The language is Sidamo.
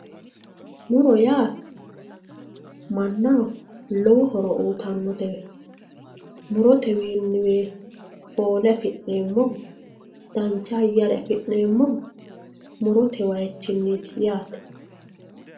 Muro yaa mannaho lowo horo uyittanote murotewinniwe foole afi'neemmo muro dancha ayare affi'neemmo murote wayichinniti yaate.